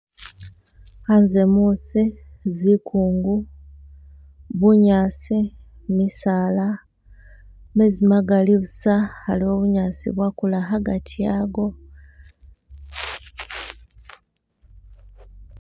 Hanze musi, zikungu, bunyasi, misaala, mezi magali busa haliwo bunyasi bwakula hagati haago